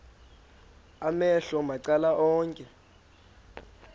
amehlo macala onke